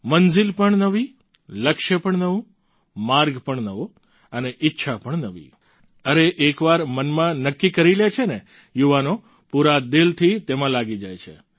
મંઝિલ પણ નવી લક્ષ્ય પણ નવું માર્ગ પણ નવો અને ઈચ્છા પણ નવી અરે એકવાર મનમાં નક્કી કરી લે છે ને યુવાનો પૂરા દિલથી તેમાં લાગી જાય છે